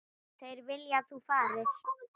Þeir vilja að þú farir.